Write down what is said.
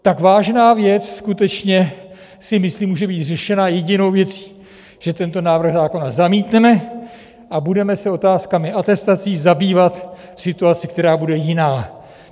Tak vážná věc skutečně, si myslím, může být řešena jedinou věcí: Že tento návrh zákona zamítneme a budeme se otázkami atestací zabývat v situaci, která bude jiná.